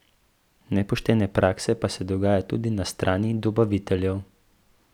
Nepoštene prakse pa se dogajajo tudi na strani dobaviteljev.